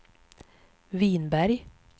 Vinberg